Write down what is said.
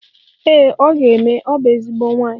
Ee ọ ga-eme, ọ bụ ezigbo nwaanyi